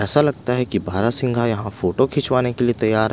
ऐसा लगता है कि बारहसिन्हा यहाँ फोटो खिंचवाने के लिए तैयार--